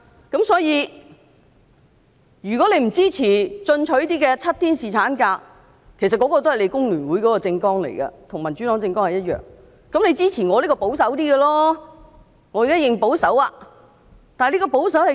如果議員不支持比較進取的7天侍產假建議——其實這也載於工聯會的政綱，而民主黨的政網同樣載有此點——可以支持我比較保守的修正案。